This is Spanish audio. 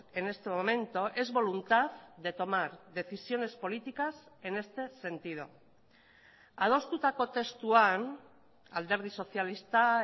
en este momento es voluntad de tomar decisiones políticas en este sentido adostutako testuan alderdi sozialista